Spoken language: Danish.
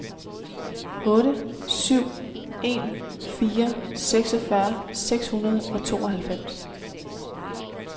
otte syv en fire seksogfyrre seks hundrede og tooghalvfems